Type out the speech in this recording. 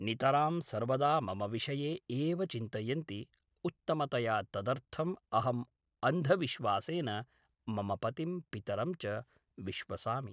नितरां सर्वदा मम विषये एव चिन्तयन्ति उत्तमतया तदर्थम् अहम् अंधविश्वासेन मम पतिं पितरं च विश्वसामि